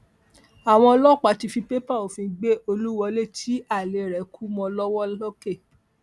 àwọn ọlọpàá ti fi pápẹ òfin gbé olúwọlé tí alẹ rẹ kú mọ lọwọ lọkẹ